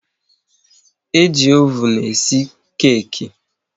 E ji oven e si keki